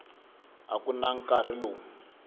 a ku na nkarhi lowu